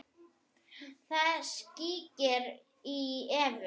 Það skríkir í Evu.